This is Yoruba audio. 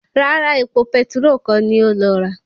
Rárá, epo petiró kọ́ ni ó lọ rà